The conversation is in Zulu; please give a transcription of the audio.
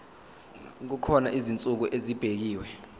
kukhona izinsuku ezibekiwe